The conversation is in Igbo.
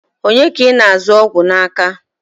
Onye ka ị na-azụ ọgwụ n'aka?